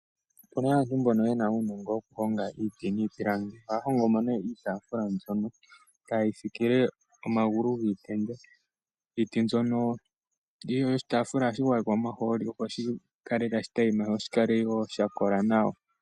Opu na aantu mbono ye na uunongo woku honga iiti niipilangi. Ohaya hongo nee iitaafula mbyono etayeyi fikile omagulu giitenda. Iiti mbyono yoshitaafula ohashi gwayekwa omahooli opo shi kale tashi tayima, sho shi kale sha kola nawa.